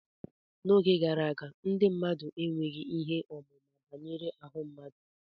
N'oge gara aga, ndị mmadụ enweghị ihe ọmụma banyere ahụ mmadụ